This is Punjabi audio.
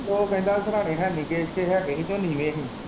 ਉਹ ਕਹਿੰਦਾ ਸਿਰਾਹਣੇ ਹੈਨੀ ਗੇ ਇੱਥੇ ਹੈ ਗੇ ਹੀ ਤੇ ਨੀਂਵੇ ਹੀ।